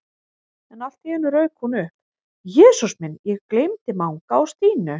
En allt í einu rauk hún upp: Jesús minn, ég gleymdi Manga og Stínu